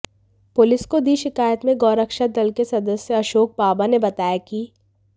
police को दी शिकायत में गौरक्षा दल के सदस्य अशोक बाबा ने बताया कि